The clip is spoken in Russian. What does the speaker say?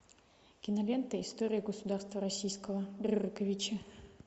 кинолента история государства российского рюриковичи